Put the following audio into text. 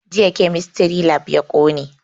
Jiya kemistry lab ya ƙone